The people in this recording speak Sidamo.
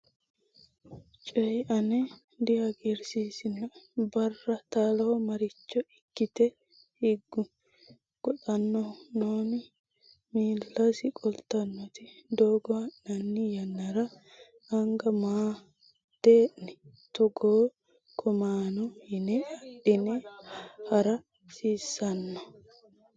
coyi ane dihagiirsiisinoe, barra taaloho Maricho ikkite higgu? goxannohu nooni? Miillasi qoltannoti, doogo ha’nanni yannara anga maa “Dee’ni, Togo coommanno yine adhine ha’ra hasiissanno?